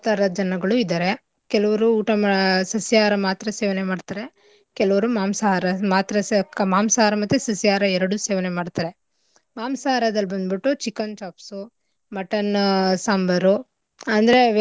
ಜನಗಳೂ ಇದಾರೆ ಕೆಲವ್ರು ಊಟ ಮಾ ಸಸ್ಯಾಹಾರ ಮಾತ್ರ ಸೇವನೆ ಮಾಡ್ತಾರೆ, ಕೆಲವ್ರು ಮಾಂಸಾಹಾರ ಮಾತ್ರ ಕ ಮಾಂಸಾಹಾರ ಮತ್ತೆ ಸಸ್ಯಾಹಾರ ಎರಡೂ ಸೇವನೆ ಮಾಡ್ತಾರೆ ಮಾಂಸಾಹಾರದಲ್ ಬಂದ್ಬುಟ್ಟು chicken chops ಉ mutton ಸಾಂಬಾರು ಅಂದ್ರೆ.